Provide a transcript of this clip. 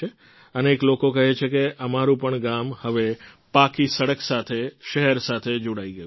અનેક લોકો કહે છે કે અમારું પણ ગામ હવે પાકી સડક સાથે શહેર સાથે જોડાઈ ગયું છે